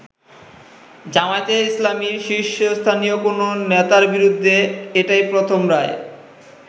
জামায়াতে ইসলামীর শীর্ষস্থানীয় কোন নেতার বিরেুদ্ধে এটাই প্রথম রায়।